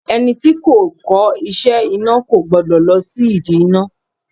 Ẹni tí kò kọ́ iṣẹ́ iná kò gbọ́dọ̀ lọ sí ìdí iná.